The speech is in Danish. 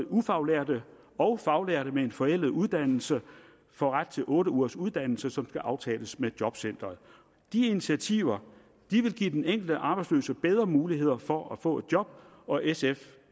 ufaglærte og faglærte med en forældet uddannelse få ret til otte ugers uddannelse som skal aftales med jobcenteret de initiativer vil give den enkelte arbejdsløse bedre muligheder for at få et job og sf